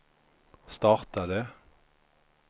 startade